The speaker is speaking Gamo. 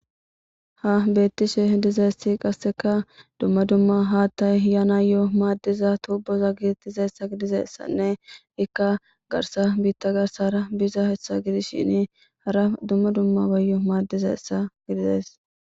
Ha betishe dizays qaseka dumma dumma hata ehiya na'iyo madiza toboza getethzaysa gididaysanne Ika garsa biita garsara bizysa gidishn hara dumma dummabayo madizaysa ..